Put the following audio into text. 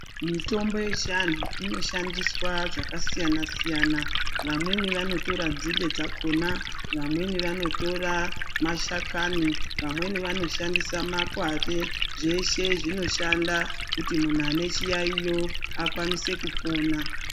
Mitombo yechianhu inoshandiswa zvakasiyana siyana, vamweni vanotora nzinde dzakhona, vamweni vanotora mashakani, vamweni vanoshandisa makwati, zveshe zvinoshanda kuti munhu ane chiyayiyo, akwanise kupona.